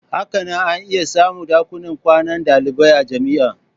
Hakanan ana iya samun dakunan kwanan dalibai a jami'a.